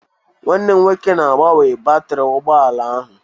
Nwanne m nwoke na-agbanwe batrị ụgbọ ala ahụ